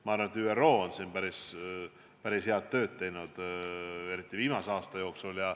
Ma arvan, et ÜRO on päris head tööd teinud, eriti viimase aasta jooksul.